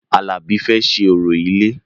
Alabi fẹ́ ṣe orò ilé